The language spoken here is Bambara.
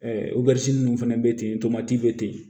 ninnu fana bɛ ten tomati bɛ ten